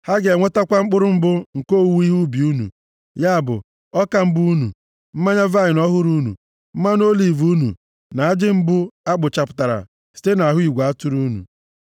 Ha ga-enwetakwa mkpụrụ mbụ nke owuwe ihe ubi unu, ya bụ, ọka mbụ unu, mmanya vaịnị ọhụrụ unu, mmanụ oliv unu na ajị mbụ a kpụchapụtara site nʼahụ igwe atụrụ unu.